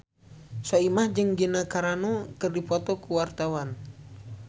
Soimah jeung Gina Carano keur dipoto ku wartawan